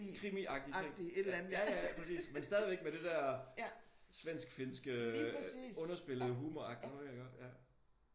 Krimiagtig ting. Ja ja præcis. Men stadigvæk med det der svensk-finske underspillede humornoget iggå?